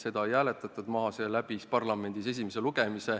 Seda ei hääletatud maha, see läbis parlamendis esimese lugemise.